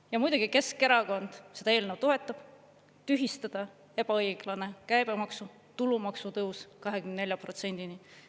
Ja muidugi Keskerakond seda eelnõu toetab, tühistada ebaõiglane käibemaksu, tulumaksu tõus 24%-ni.